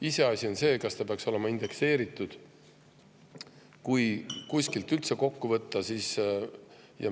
Iseasi on see, kas see peaks olema indekseeritud – kui kuskilt üldse kokku, siis võiks seda kaaluda.